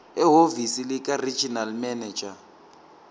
ehhovisi likaregional manager